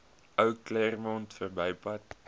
ou claremont verbypad